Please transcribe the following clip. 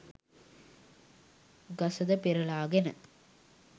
ගසද පෙරළාගෙන